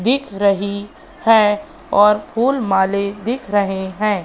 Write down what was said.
दिख रही है और फुलमाले दिख रहे हैं।